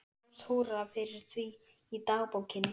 Stórt húrra fyrir því í dagbókinni.